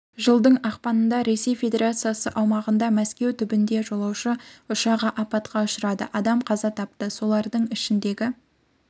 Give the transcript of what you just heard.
жылдың ақпанында ресей федерациясы аумағында мәскеу түбінде жолаушы ұшағы апатқа ұшырады адам қаза тапты солардың ішіндегі